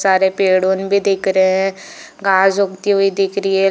बहुत सारे पेड़ ऑन भी दिख रहे है घास उगती हुई दिख रही है।